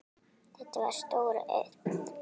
Þetta var stór auðn.